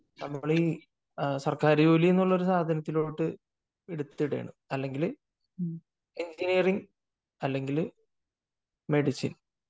നമ്മൾ ഈ സർക്കാർ ജോലി എന്ന സാധനത്തിലോട്ട് എടുത്തിടുകയാണ് . അല്ലെങ്കിൽ എഞ്ചിനീയറിങ് അല്ലെങ്കിൽ മെഡിസിൻ